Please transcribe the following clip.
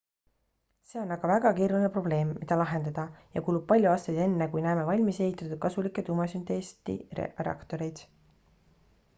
see on aga väga keeruline probleem mida lahendada ja kulub palju aastaid enne kui näeme valmis ehitatud kasulikke tuumasünteesti reaktoreid